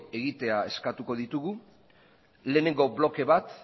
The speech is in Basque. egitea eskatuko ditugu lehenengo bloke bat